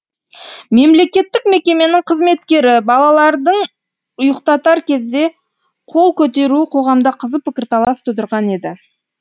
мемлекеттік мекеменің қызметкері балалардың ұйықтатар кезде қол көтеруі қоғамда қызу пікірталас тудырған еді